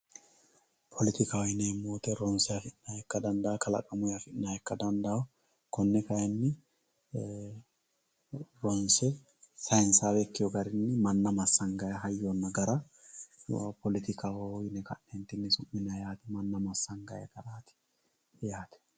poletikkaho yineemmo woyte ronse afi'nayha ikka dandawo kalaqamuyi afi'nayha ikka dandaawo konne kayinni ronse saynsawe ikkewo garinni manna massagara hayyonna gara poletikaho yine ka'neentinni su'ma dandiinayi masangayi garati yate